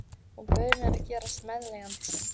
Hún bauð mér að gerast meðleigjandi sinn.